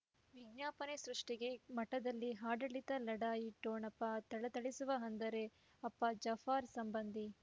ವಿಜ್ಞಾಪನೆ ಸೃಷ್ಟಿಗೆ ಮಠದಲ್ಲಿ ಆಡಳಿತ ಲಢಾಯಿ ಠೊಣಪ ಥಳಥಳಿಸುವ ಅಂದರೆ ಅಪ್ಪ ಜಾಫರ್ ಸಂಬಂಧಿ